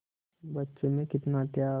बच्चे में कितना त्याग